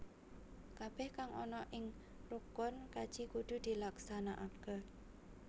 Kabeh kang ana ing rukun kaji kudu dilaksanakake